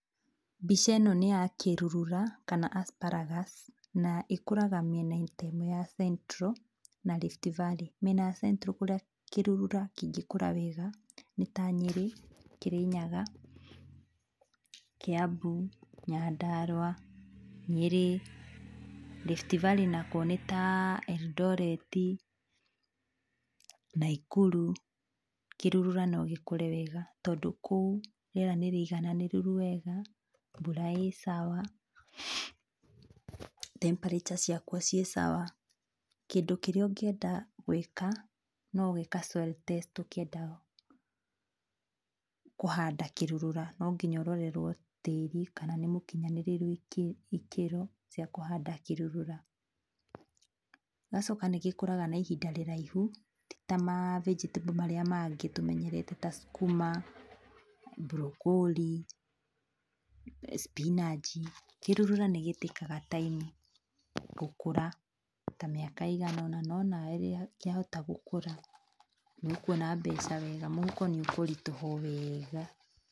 Mbica ĩno nĩ ya kĩrurura, kana Astragas na ĩkũraga mĩena-inĩ ya central na Rift Valley. Mĩena ya central kũrĩa kĩrurura kĩngĩkũra wega nĩya Nyeri, Kĩrĩnyaga, Kĩambu, Nyandarua, Nyeri, Rift Valley nakuo nĩ ya Eldoret, Naikuru, kĩrurura no gĩkũre wega tondũ kũu riera nĩ rĩigananĩrĩru wega mbura ĩ sawa, temperature ciakuo ciĩ sawa. Kĩndũ kĩrĩa ũngĩenda gwĩka, no gwĩka soil test ũkĩenda kũhanda kĩrurura no nginya ũrorerwo tĩri kana nĩ ũkinyanĩire ikĩro cia kũhanda kĩrurura, ĩgacoka nĩgĩkũraga na ihinda rĩraihu tita ma vegetable marĩa mangĩ tũmenyerete ta skuma, broccoli, spinach, kĩrurura nĩ gĩtĩkaga time gũkũra ta mĩaka ĩiganona, no nawe rĩrĩa kĩahota gũkũra nĩ ũkwona mbeca wega, mũhuko nĩ ũkũritũha o wega.